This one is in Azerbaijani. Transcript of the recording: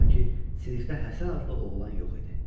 Sanki sinifdə Həsən adlı oğlan yox idi.